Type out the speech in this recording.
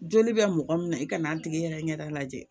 Joli bɛ mɔgɔ min na i ka n'a tigi yɛrɛ ɲɛda lajɛ